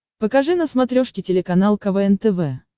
покажи на смотрешке телеканал квн тв